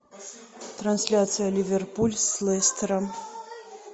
трансляция ливерпуль с лестером